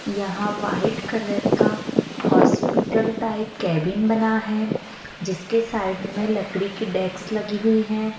यहां white colour का hospital type cabin बना है जिसके साइड में लकड़ी की डेस्क लगी हुई हैं।